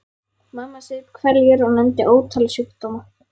Mamma saup hveljur og nefndi ótal sjúkdóma.